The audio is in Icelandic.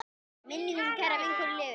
Minning um kæra vinkonu lifir.